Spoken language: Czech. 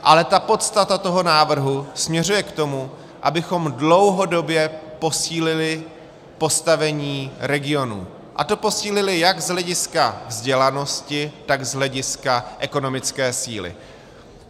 Ale ta podstata toho návrhu směřuje k tomu, abychom dlouhodobě posílili postavení regionů, a to posílili jak z hlediska vzdělanosti, tak z hlediska ekonomické síly.